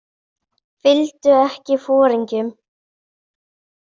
Fylgdu ekki foringjum.